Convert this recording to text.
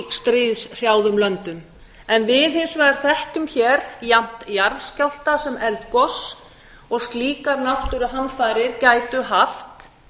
stríðshrjáðum löndum en við hins vegar þekkjum hér jafnt jarðskjálfta sem eldgos og slíkar náttúruhamfarir gætu haft